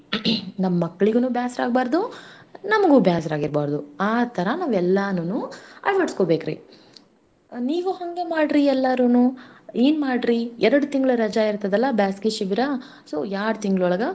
ನಮ್ ಮಕ್ಲಿಗೂನು ಬ್ಯಾಸ್ರಾಗ್ಬಾರ್ದು. ನಮಗೂ ಬ್ಯಾಸ್ರಾಗಿರ್ಬಾರ್ದು. ಆಥರಾ ನಾವೆಲ್ಲಾನುನು ಅಳ್ವಡ್ಸ್ಕೋಬೇಕ್ರಿ. ನೀವೂ ಹಂಗ ಮಾಡ್ರಿ ಎಲ್ಲಾರೂನು. ಏನ್ಮಾಡ್ರೀ ಎರಡ್ ತಿಂಗ್ಳ್ ರಜಾ ಇರ್ತದಲ್ಲಾ ಬ್ಯಾಸ್ಗಿ ಶಿಬಿರ so ಯಾಳ್ಡ್ ತಿಂಗ್ಳೊಳಗ.